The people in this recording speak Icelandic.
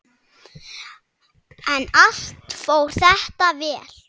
En allt fór þetta vel.